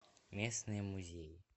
местные музеи